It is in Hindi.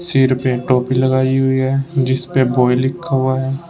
सिर पे टोपी लगाई हुई है जिसपे बॉय लिखा हुआ है।